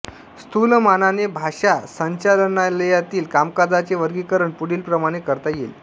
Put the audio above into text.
स्थूलमानाने भाषा संचालनालयातील कामकाजाचे वर्गीकरण पुढीलप्रमाणे करता येईल